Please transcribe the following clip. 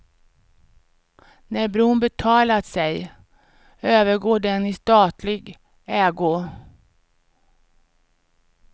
När bron betalat sig övergår den i statlig ägo.